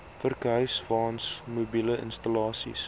vurkhyswaens mobiele installasies